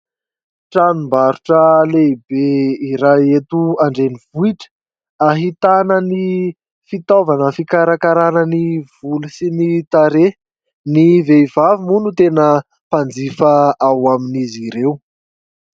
Tranombarotra lehibe iray eto andrenivohitra. Hahitana ny fitaovana fikarakarana ny volo sy ny tarehy. Ny vehivavy moa no tena mpanjifa ao amin'izy ireo.